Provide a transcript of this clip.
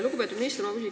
Lugupeetud minister!